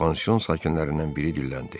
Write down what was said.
Pansion sakinlərindən biri dilləndi: